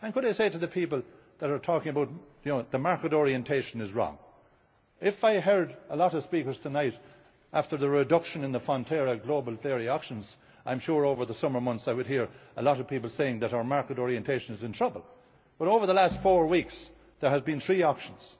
Could I say to the people who are saying that the market orientation is wrong that if I heard a lot of speakers tonight after the reduction in the Fonterra Global Dairy Auctions, I am sure over the summer months I would hear a lot of people saying that our market orientation is in trouble, but over the last four weeks there have been three auctions.